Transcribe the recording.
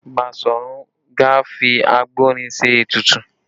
Basọ̀run Gáà fi àgbọ̀nrín ṣe ètùtù